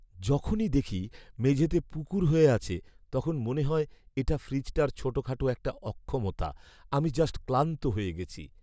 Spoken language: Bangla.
যখনই দেখি মেঝেতে পুকুর হয়ে আছে তখন মনে হয় এটা ফ্রিজটার ছোটখাটো একটা অক্ষমতা! আমি জাস্ট ক্লান্ত হয়ে গেছি।